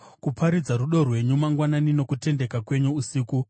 kuparidza rudo rwenyu mangwanani nokutendeka kwenyu usiku,